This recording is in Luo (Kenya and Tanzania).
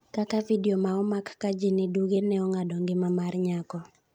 kaka vidio ma omak ka ji ni duge ne ong'ado ngima mar nyako